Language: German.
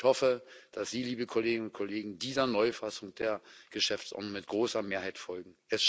Ich hoffe, dass Sie, liebe Kolleginnen und Kollegen, dieser Neufassung der Geschäftsordnung mit großer Mehrheit folgen.